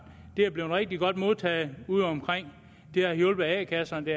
er blevet rigtig godt modtaget udeomkring det har hjulpet a kasserne det